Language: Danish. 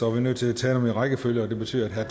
er nødt til at tage dem i rækkefølge og det betyder at herre